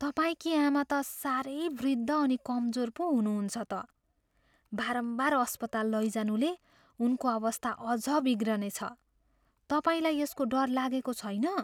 तपाईँकी आमा त साह्रै वृद्ध अनि कमजोर पो हुनुहुन्छ त। बारम्बार अस्पताल लैजानुले उनको अवस्था अझ बिग्रनेछ। तपाईँलाई यसको डर लागेको छैन?